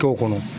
K'o kɔnɔ